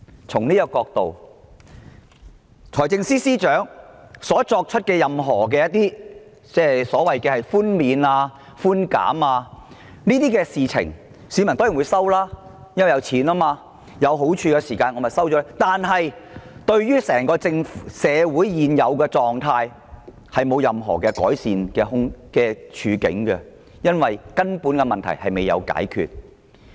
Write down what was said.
從這個角度而言，財政司司長提出的所有寬免和寬減措施，市民當然會接受，因為這涉及金錢和種種好處，但這對於社會現時的狀況並不會帶來任何改善，因為根本的問題未有獲得解決。